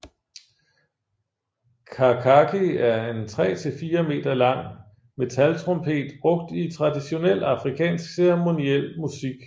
Kakaki er en tre til fire meter lang metaltrompet brugt i traditionel afrikansk ceremoniel musik